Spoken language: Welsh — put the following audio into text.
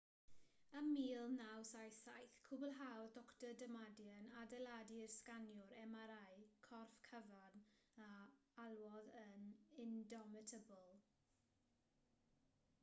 ym 1977 cwblhaodd dr damadian adeiladu'r sganiwr mri corff cyfan a alwodd yn indomitable